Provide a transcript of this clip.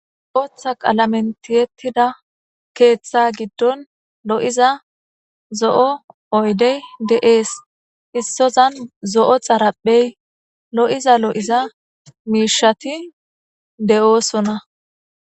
Botha qalamene tietida kethagidon loiza zo'o oyide de'es issotan zo'o xariphey loiza loiza misheti de'osona